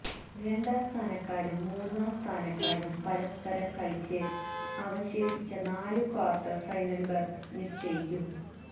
രണ്ടാം സ്ഥാനക്കാരും മൂന്നാം സ്ഥാനക്കാരും പരസ്പരം കളിച്ച് അവശേഷിച്ച നാലു ക്വാർട്ടർ ഫൈനൽ ബെർത്ത് നിശ്ചയിക്കും